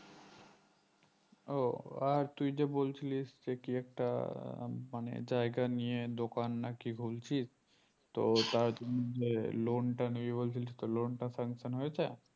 ও আর তুই তো বলছিলিস সে কি একটা মানে জায়গা নিয়ে দোকান না কি খুলছিস তো ওইটা উহ যে loan টা নিবি বলছিলিস তো loan sanction হয়েছে